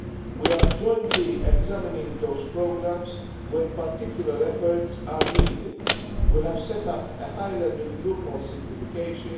We are jointly examining those programmes where particular efforts are needed. We have set up a high level group on simplification.